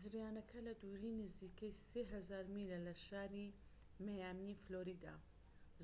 زریانەکە لە دووری نزیکەی 3000 میلە لە شاری مەیامی فلۆریدا،